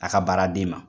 A ka baaraden ma